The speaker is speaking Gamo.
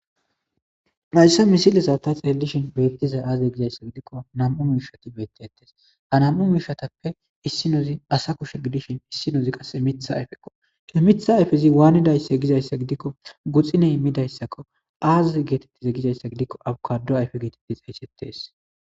Mayssa misile saata xelelishin beettizay aazey gizayssa gidikko nam'u miishati beetteettes ha nam'u miishatappe issinozi asa kushe gidishin issinozi qasse mitha ayfekko ke mitha ayfezi waanidaysse gizayssa gidikko guxiney immidayssakko aaze geetettize gizayssa gidikko abukado ayfe geetidi xaysettees.